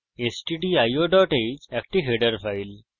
stdio h একটি header file